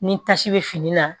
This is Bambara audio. Ni tasi bɛ fini na